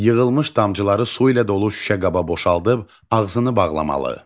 Yığılmış damcıları su ilə dolu şüşə qaba boşaldıb ağzını bağlamalı.